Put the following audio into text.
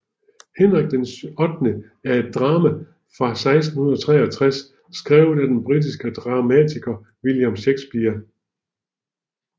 Henrik VIII er et drama fra 1613 skrevet af den britiske dramatiker William Shakespeare